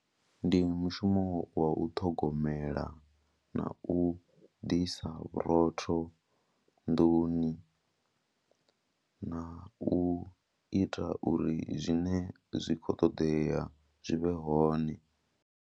Ndi mushumo wa u ṱhogomela na u ḓisa vhurotho nḓuni na u ita uri zwine zwi khou ṱoḓea zwi vhe hone.